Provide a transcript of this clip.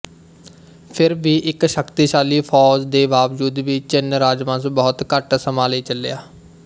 ਫਿਰ ਵੀ ਇੱਕ ਸ਼ਕਤੀਸ਼ਾਲੀ ਫੌਜ ਦੇ ਬਾਵਜੂਦ ਵੀ ਚਿਨ ਰਾਜਵੰਸ਼ ਬਹੁਤ ਘੱਟ ਸਮਾਂ ਲਈ ਚੱਲਿਆ